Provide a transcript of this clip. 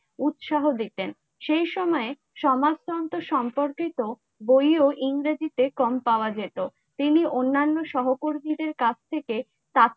উৎসাহ দিতেন সেই সময়ে সমাজতন্ত্র সম্পর্কিত বই ও ইংরেজিতে কম পাওয়া যেত তিনি অন্যান্য সহকর্মীদের কাছ থেকে